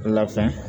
Labɛn